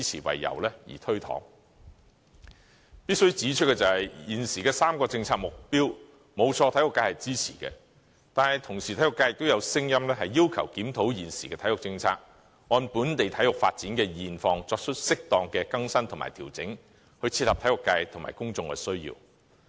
必須指出的是，沒錯，現時3個政策目標均獲體育界支持，但體育界同時亦有聲音，要求檢討現時的體育政策，按本地體育發展的現況，作出適當的更新及調整，以切合體育界及公眾的需要。